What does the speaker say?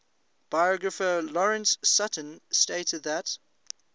biographer lawrence sutin stated that